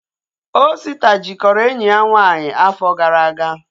Osita jikọrọ enyi ya nwaanyị afọ gara aga